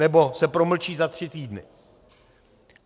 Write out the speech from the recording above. Nebo se promlčí za tři týdny.